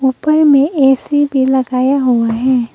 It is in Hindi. ऊपर में ए_सी भी लगाया हुआ है।